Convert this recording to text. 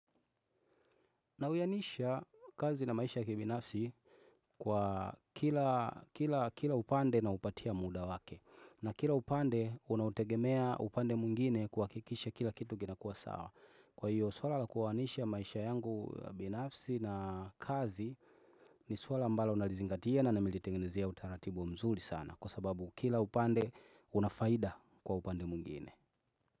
Na uyanisha kazi na maisha kibinafsi kwa kila upande na upatia muda wake. Na kila upande unautegemea upande muingine kwakikisha kila kitu kinakua sawa. Kwa hiyo swala la kuwanisha maisha yangu binafsi na kazi ni swala ambalo nalizingatia na namelitengenezia utaratibu mzuli sana. Kwa sababu kila upande unafaida kwa upande mungine.